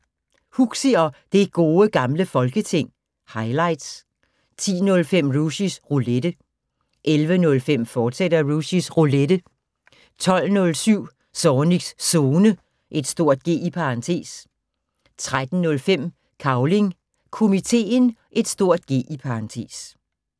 05:05: Huxi og Det Gode Gamle Folketing – highlights 10:05: Rushys Roulette 11:05: Rushys Roulette, fortsat 12:07: Zornigs Zone (G) 13:05: Cavling Komiteen (G)